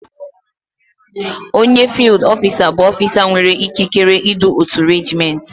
Onye fiild ọfisa bụ ọfisa nwere ikikere idu otu reejiment.